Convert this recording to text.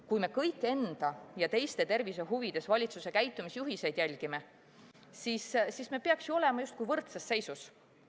Kui me kõik enda ja teiste tervise huvides valitsuse käitumisjuhiseid järgime, siis me peaks ju olema justkui võrdses seisus.